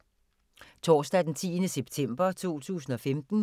Torsdag d. 10. september 2015